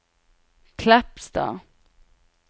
Kleppstad